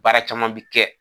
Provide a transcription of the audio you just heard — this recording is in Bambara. Baara caman bɛ kɛ.